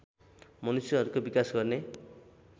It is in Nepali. मनुष्यहरूको विकास गर्ने